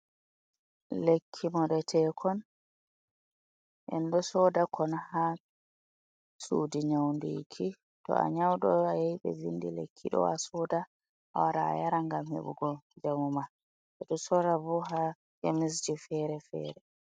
Lekki moɗeteekon. Enɗo sooda kon haa suudi nyaundiki. To a nyauɗo a yahi ɓe vindi lekki ɗo, a soda, a wara a yara ngam heɓugo njamu ma. Ɓe ɗo soora bo haa kemisje fere-fere.